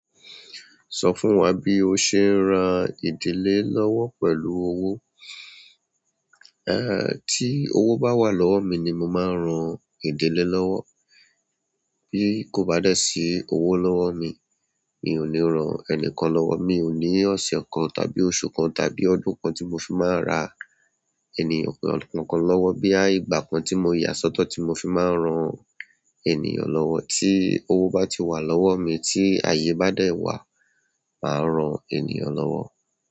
Sọ fún wa bí o ṣe ń ran ìdílé lọ́wọ́ pẹ̀lú owó. Ee ti owó bá wà lọ́wọ́ mi ni mo máa ń ran ìdílé lọ́wọ́. Bí kò bá dé sí owó lọ́wọ́ mi, mi ò ní ran ẹnikán lọ́wọ́. Mi ò ní ọ̀sẹ̀ kan, tàbí oṣù kan, tàbí ọdún kan tí mo fi máa ra ènìyàn kan lọ́wọ́ bí i ìgbà kan tí mo yà sọ́tọ̀ tí mo fi máa ń rán ènìyàn lọ́wọ́. Tí owó bá ti wà lọ́wọ́ mi, tí ààyè bá dé wá, mà á ran ènìyàn lọ́wọ́.